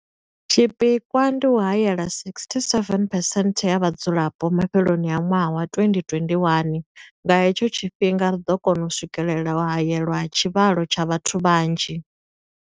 Tshipikwa ndi u haela 67 percent ya vhadzulapo mafheloni a ṅwaha wa 2021. Nga he tsho tshifhinga ri ḓo kona u swikelela u haelwa ha tshivhalo tsha vhathu vha nzhi.